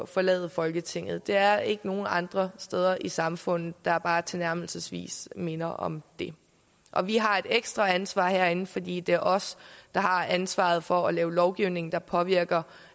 forlade folketinget der er ikke nogen andre steder i samfundet der bare tilnærmelsesvis minder om det og vi har et ekstra ansvar herinde fordi det er os der har ansvaret for at lave lovgivning der påvirker